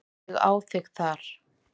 Ég á þig þar.